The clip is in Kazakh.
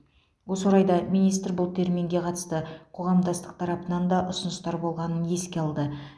осы орайда министр бұл терминге қатысты қоғамдастық тарапынан да ұсыныстар болғанын еске алды